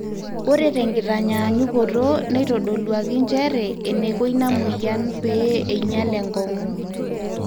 ore tenkitanyanyukoto neitodoluaki njere eneiko ina mweyian pee einyal enkong'u